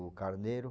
O carneiro.